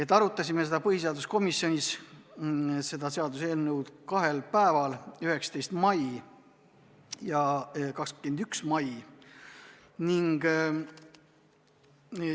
Me arutasime põhiseaduskomisjonis seda seaduseelnõu kahel päeval: 19. mail ja 21. mail.